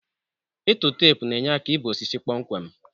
Ịtụ teepu na-enye aka ibe osisi kpọmkwem.